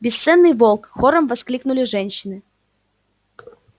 бесценный волк хором воскликнули женщины